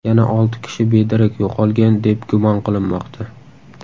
Yana olti kishi bedarak yo‘qolgan, deb gumon qilinmoqda.